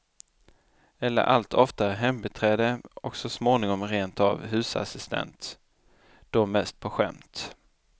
Eller allt oftare hembiträde och så småningom rentav husassistent, då mest på skämt.